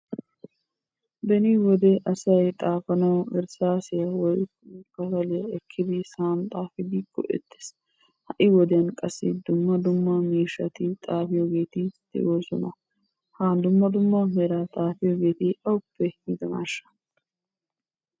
Beni wode asay xaafanawu irssaasiyan xaafidi go'ettes. Ha'i wodiyan qassi dumma dumma miishshati xaafiyogeeti de'oosona. Ha dumma dumma meran xaafiyogeeti awuppe yiidonaashsha?